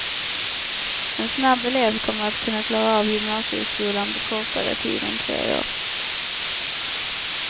En snabb elev kommer att kunna klara av gymnasieskolan på kortare tid än tre år.